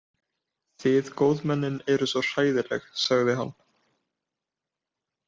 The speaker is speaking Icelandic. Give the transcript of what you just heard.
Þið góðmennin eruð svo hræðileg sagði hann.